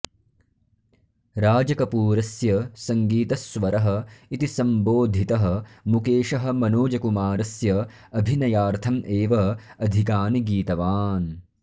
राजकपूरस्य सङ्गीतस्वरः इति सम्बोधितः मुकेशः मनोजकुमारस्य अभिनयार्थम् एव अधिकानि गीतवान्